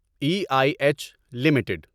E I H limited